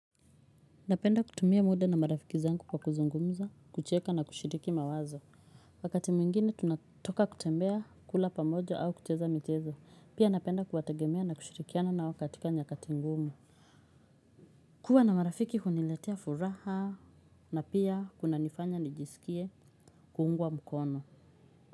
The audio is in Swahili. Napenda kutumia muda na marafiki zangu kwa kuzungumza, kucheka na kushiriki mawazo. Wakati mwingine tunatoka kutembea kula pamoja au kucheza michezo. Pia napenda kuwategemea na kushirikiana nao katika nyakati ngumu. Kuwa na marafiki huniletea furaha na pia kunanifanya nijisikie kuungwa mkono.